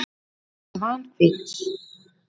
Svanhvít